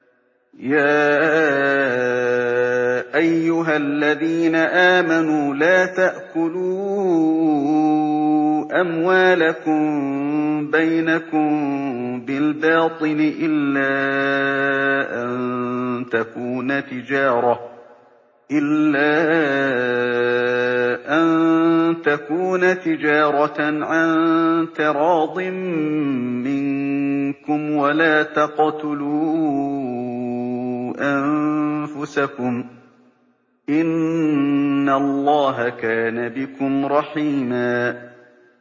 يَا أَيُّهَا الَّذِينَ آمَنُوا لَا تَأْكُلُوا أَمْوَالَكُم بَيْنَكُم بِالْبَاطِلِ إِلَّا أَن تَكُونَ تِجَارَةً عَن تَرَاضٍ مِّنكُمْ ۚ وَلَا تَقْتُلُوا أَنفُسَكُمْ ۚ إِنَّ اللَّهَ كَانَ بِكُمْ رَحِيمًا